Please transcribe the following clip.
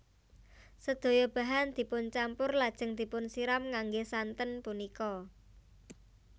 Sedaya bahan dipuncampur lajeng dipunsiram ngangge santen punika